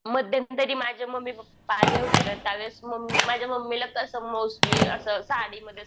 मध्यंतरी माझे mummy papa आले होते ना त्यावेळेस माझ्या मम्मीला असं मोस्टली असं साडीमध्ये असं